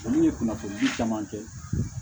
Olu ye kunnafoni di caman kɛ